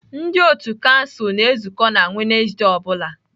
Ndị otu kansụl na-ezukọ na Wednesde ọ bụla